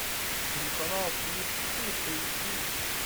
телеканал фликс шип эйч ди